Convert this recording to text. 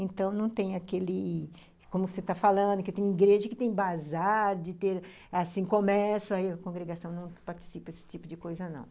Então, não tem aquele, como você está falando, que tem igreja que tem bazar de ter, assim, começa, aí a congregação não participa desse tipo de coisa não.